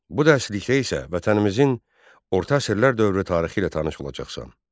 Bu dərslikdə isə vətənimizin orta əsrlər dövrü tarixi ilə tanış olacaqsan.